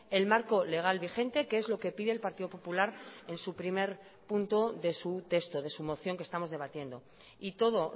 el marco legal vigente que es lo que pide el partido popular en su primer punto de su texto de su moción que estamos debatiendo y todo